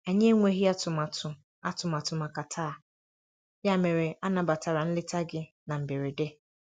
Anyị enweghị atụmatụ atụmatụ màkà taa, ya mere anabatara nleta gị na mberede.